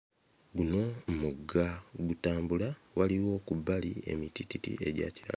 Guno mugga gutambula waliwo ku bbali emitiititi egya kira